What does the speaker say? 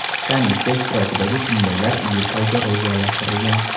Komissiya ishtirokidagi tinglovlar iyul oyiga rejalashtirilgan.